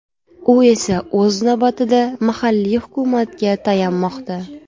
U esa o‘z navbatida, mahalliy hukumatga tayanmoqda.